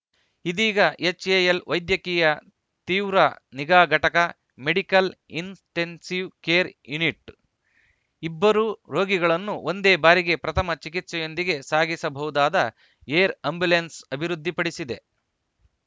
ಇದೀಗ ಎಚ್‌ಎಎಲ್‌ ವೈದ್ಯಕೀಯ ತೀವ್ರ ನಿಗಾ ಘಟಕ ಮೆಡಿಕಲ್‌ ಇನ್‌ಟೆನ್ಸಿವ್‌ ಕೇರ್‌ ಯೂನಿಟ್‌ ಇಬ್ಬರು ರೋಗಿಗಳನ್ನು ಒಂದೇ ಬಾರಿಗೆ ಪ್ರಥಮ ಚಿಕಿತ್ಸೆಯೊಂದಿಗೆ ಸಾಗಿಸಬಹುದಾದ ಏರ್‌ ಆ್ಯಂಬುಲೆನ್ಸ್‌ ಅಭಿವೃದ್ಧಿಪಡಿಸಿದೆ